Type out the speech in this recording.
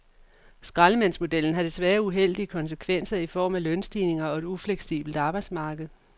Skraldemandsmodellen har desværre uheldige konsekvenser i form af lønstigninger og et ufleksibelt arbejdsmarked.